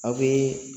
Aw bɛ